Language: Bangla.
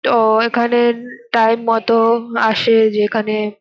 তো এখানে টাইম মতো আসে যেখানে--